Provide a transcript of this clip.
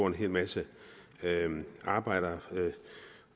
en hel masse arbejdere